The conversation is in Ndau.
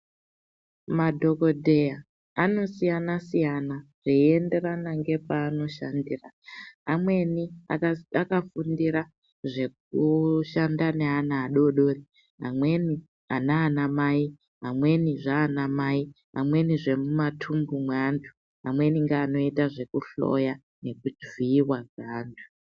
Madhokodheya anosiyana siyana zveyienderana ngepaanoshandira amweni akafundira zvekushanda neana adodori amweni anana mai amweni zvaana mai amweni zvemwumatumbu mweantu amweni ngeanoita zvekuhloya nekuvhiyiwa kweantu.